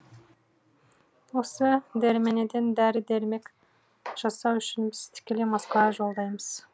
осы дерменеден дәрі дәрмек жасау үшін біз тікелей москваға жолдаймыз